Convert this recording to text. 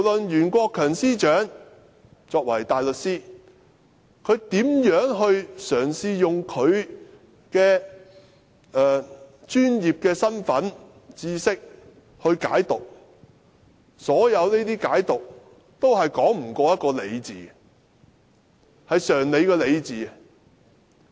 袁國強司長身為大律師，無論他如何嘗試運用其專業身份和知識來解讀條文，所有這些解讀也說不過常理。